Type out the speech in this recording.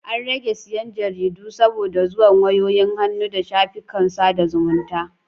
An rage siyan Jaridu saboda zuwan wayoyin hannu da shafikan sada zumunta